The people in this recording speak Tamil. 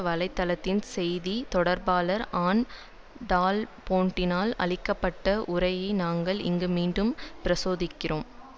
வலை தளத்தின் செய்தி தொடர்பாளர் ஆன் டால்போட்டினால் அளிக்க பட்ட உரையை நாங்கள் இங்கு மீண்டும் பிரசுரிக்கிறோம்